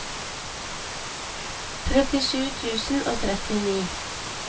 trettisju tusen og trettini